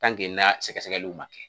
n'a sɛgɛsɛgɛliw man kɛ.